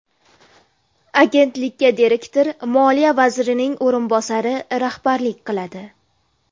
Agentlikka direktor Moliya vazirining o‘rinbosari rahbarlik qiladi.